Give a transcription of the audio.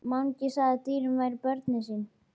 Mangi sagði að dýrin væru börnin sín.